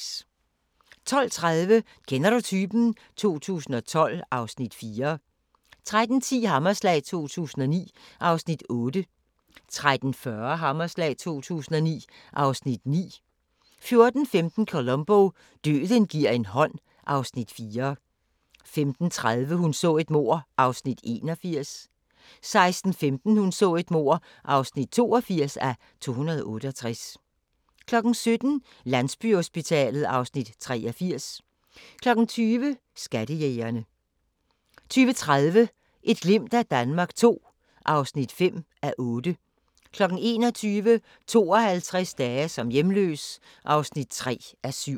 12:30: Kender du typen? 2012 (Afs. 4) 13:10: Hammerslag 2009 (Afs. 8) 13:40: Hammerslag 2009 (Afs. 9) 14:15: Columbo: Døden gi'r en hånd (Afs. 4) 15:30: Hun så et mord (81:268) 16:15: Hun så et mord (82:268) 17:00: Landsbyhospitalet (Afs. 83) 20:00: Skattejægerne 20:30: Et glimt af Danmark II (5:8) 21:00: 52 dage som hjemløs (3:7)